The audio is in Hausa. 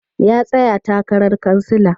Ya tsaya takarar kansila.